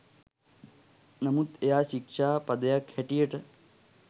නමුත් එයා ශික්ෂා පදයක් හැටියට